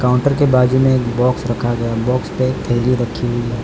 Counter के बाजू में एक बॉक्स रखा गया। बॉक्स पे एक थैली रखी हुई है।